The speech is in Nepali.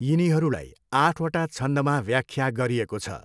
यिनीहरूलाई आठवटा छन्दमा व्याख्या गरिएको छ।